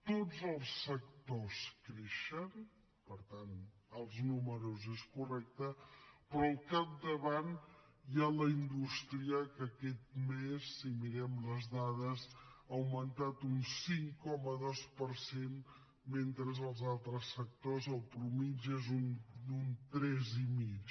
tots els sectors creixen per tant els números són correctes però al capdavant hi ha la indústria que aquest mes si mirem les dades ha augmentat un cinc coma dos per cent mentre que als altres sectors la mitjana és d’un tres i mig